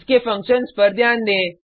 इसके फंक्शन्स पर ध्यान दें